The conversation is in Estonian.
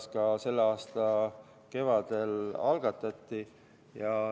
Seetõttu see ka selle aasta kevadel algatati.